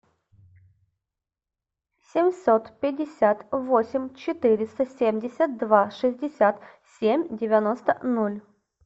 семьсот пятьдесят восемь четыреста семьдесят два шестьдесят семь девяносто ноль